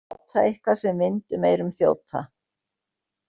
Að láta eitthvað sem vind um eyrun þjóta